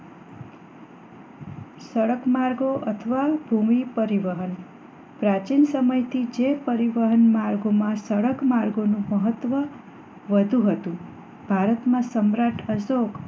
સડક માર્ગો અથવા ભૂમિ પરિવહન પ્રાચીન સમય થી જે પરિવહન માર્ગ માં સડક માર્ગો નું મહત્વ વધુ હતું ભારત માં સમ્રાટ અશોક